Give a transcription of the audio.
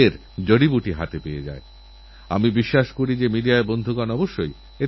আর আজকালতো প্রযুক্তি এত সুলভ হয়ে গেছে যে আপনারা স্বচ্ছন্দেই যে কোন জিনিস আমার কাছেপৌঁছে দিতে পারেন